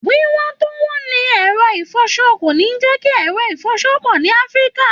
Wíwọ́n tó wọ́n ni ẹ̀rọ ìfọṣọ kò ní jẹ́ kí ẹ̀rọ ìfọṣọ pọ̀ ní Afrika